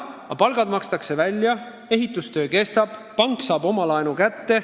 Aga palgad makstakse välja, ehitustöö käib, pank saab oma laenuraha kätte.